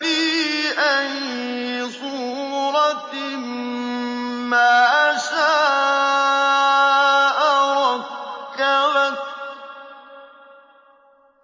فِي أَيِّ صُورَةٍ مَّا شَاءَ رَكَّبَكَ